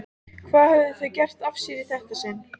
Hvað höfðu þau gert af sér í þetta sinn?